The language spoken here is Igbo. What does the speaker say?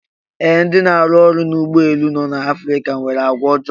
Ee, ndị na-arụ ọrụ n'ụgbọ elu no n'Afrika nwere àgwàọjọọ.